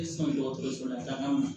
I sɔn dɔgɔtɔrɔso la taaga ma